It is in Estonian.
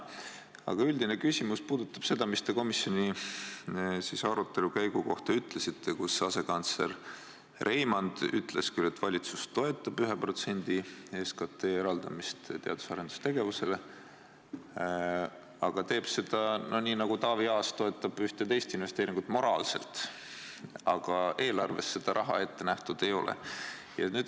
Aga üldine küsimus puudutab seda, mis te komisjoni arutelu käigu kohta ütlesite, kus asekantsler Reimand ütles küll, et valitsus toetab 1% SKT eraldamist teadus- ja arendustegevusele, ent teeb seda nii, nagu Taavi Aas toetab ühte teist investeeringut – moraalselt –, aga eelarves seda raha ette nähtud ei ole.